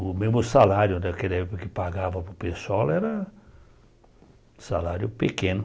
O mesmo salário daquela época que pagava para o pessoal era salário pequeno.